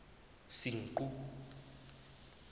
senqu